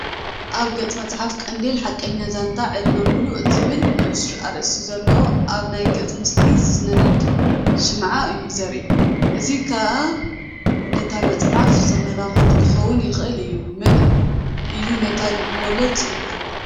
ኣብ ገጽ መጽሓፍ "ቀንዲል" "ሓቀኛ ዛንታ ዕድመ ምሉእ" ዝብል ንኡስ ኣርእስቲ ኣለዎ። ኣብቲ ናይ ገጽ ምስሊ ዚነድድ ሽምዓ እዩ ዚርአ፣ እዚ ኸኣ ንታ መጽሓፍ ዘመልክት ኪኸውን ይኽእል እዩ። መን እዩ ነታ ልብ-ወለድ ጽሒፍዋ?